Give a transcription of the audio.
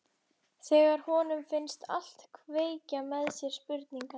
Þegar honum finnst allt kveikja með sér spurningar.